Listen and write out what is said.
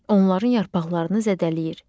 Onların yarpaqlarını zədələyir.